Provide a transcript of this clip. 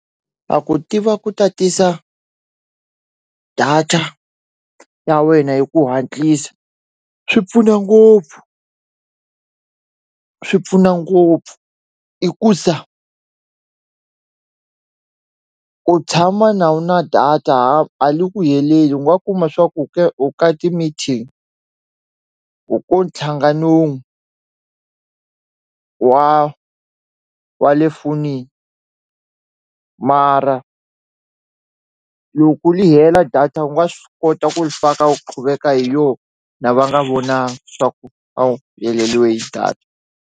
A ku tiva ku tatisa data ya wena hi ku hatlisa swi pfuna ngopfu swi pfuna ngopfu i ku sa u tshama na wu na data a li ku heleli u nga kuma swa ku ka ti-meeting u ku nthlangano wun'we wa wa le fonini mara loku ku li hela data wu nga swi kota ku li faka wu qhuveka hi yona va nga vona swa ku a heleliwe hi data.